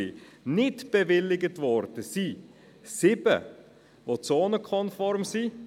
Nicht bewilligt wurden 7, die zonenkonform waren.